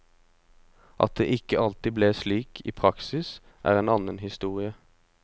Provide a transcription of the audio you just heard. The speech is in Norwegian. At det ikke alltid ble slik i praksis er en annen historie.